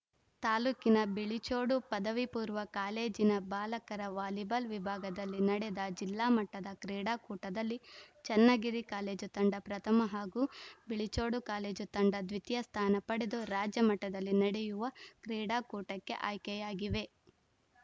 ತಾಲೂಕಿನ ಬಿಳಿಚೋಡು ಪದವಿ ಪೂರ್ವ ಕಾಲೇಜಿನ ಬಾಲಕರ ವಾಲಿಬಾಲ್‌ ವಿಭಾಗದಲ್ಲಿ ನಡೆದ ಜಿಲ್ಲಾ ಮಟ್ಟದ ಕ್ರೀಡಾಕೂಟದಲ್ಲಿ ಚನ್ನಗಿರಿ ಕಾಲೇಜು ತಂಡ ಪ್ರಥಮ ಹಾಗೂ ಬಿಳಿಚೋಡು ಕಾಲೇಜು ತಂಡ ದ್ವಿತೀಯ ಸ್ಥಾನ ಪಡೆದು ರಾಜ್ಯಮಟ್ಟದಲ್ಲಿ ನಡೆಯುವ ಕ್ರೀಡಾಕೂಟಕ್ಕೆ ಆಯ್ಕೆಯಾಗಿವೆ